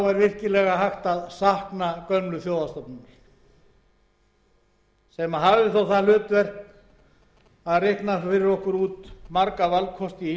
er virkilega hægt að sakna gömlu þjóðhagsstofnunar sem hafði þó það hlutverk að reikna fyrir okkur út marga valkosti í